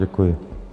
Děkuji.